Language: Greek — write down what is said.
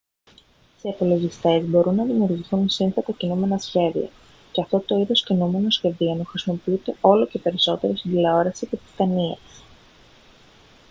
σε υπολογιστές μπορούν να δημιουργηθούν σύνθετα κινούμενα σχέδια και αυτό το είδος κινουμένων σχεδίων χρησιμοποιείται όλο και περισσότερο στην τηλεόραση και τις ταινίες